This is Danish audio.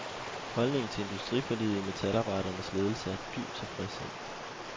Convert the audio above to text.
Holdningen til industriforliget i metalarbejdernes ledelse er dyb tilfredshed.